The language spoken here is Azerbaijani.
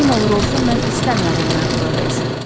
Kim olur olsun, mən istəmirəm onun ayağı bura dəysin.